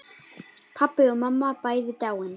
Pabbi og mamma bæði dáin.